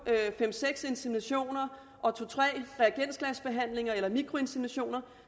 fem seks inseminationer og to tre reagensglasbehandlinger eller mikroinseminationer